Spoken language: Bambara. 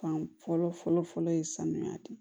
Fan fɔlɔ fɔlɔ fɔlɔ ye sanuya de